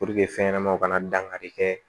fɛn ɲɛnamaw kana dankari kɛ